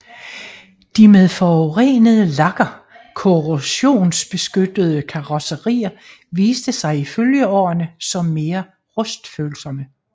De med forurenede lakker korrosionsbeskyttede karrosserier viste sig i følgeårene som mere rustfølsomme